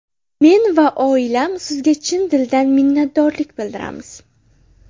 Men va oilam sizga chin dildan minnatdorlik bildiramiz.